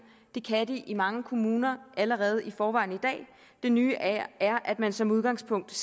det kan de i mange kommuner allerede i forvejen i dag det nye er er at man som udgangspunkt